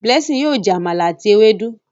Blessing yóò jẹ Àmàlà àti Ewédú